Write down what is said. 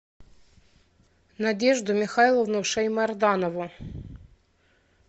надежду михайловну шаймарданову